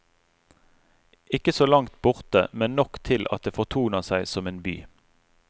Ikke så langt borte, men nok til at det fortoner seg som en by.